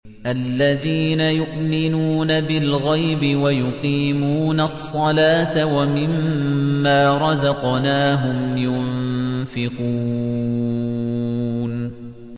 الَّذِينَ يُؤْمِنُونَ بِالْغَيْبِ وَيُقِيمُونَ الصَّلَاةَ وَمِمَّا رَزَقْنَاهُمْ يُنفِقُونَ